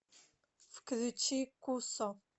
включи кусо